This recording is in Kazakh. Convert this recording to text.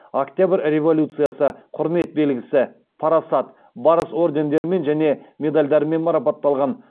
октябрь революциясы құрмет белгісі парасат барыс ордендерімен және медальдармен марапатталған